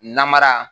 Namara